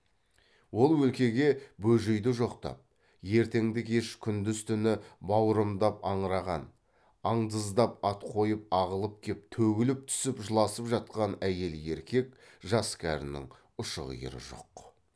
ол өлкеге бөжейді жоқтап ертеңді кеш күндіз түні бауырымдап аңыраған аңдыздап ат қойып ағылып кеп төгіліп түсіп жыласып жатқан әйел еркек жас кәрінің ұшы қиыры жоқ